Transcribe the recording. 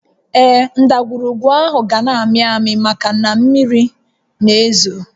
Ee, ndagwurugwu áhụ̀ ga-na ámị́ àmị́ maka na mmiri na-ézò